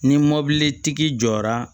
Ni mɔbili tigi jɔra